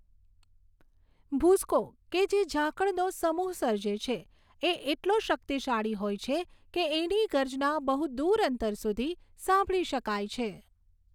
ભૂસકો કે જે ઝાકળનો સમૂહ સર્જે છે, એ એટલો શક્તિશાળી હોય છે કે એની ગર્જના બહુ દૂર અંતર સુધી સાંભળી શકાય છે.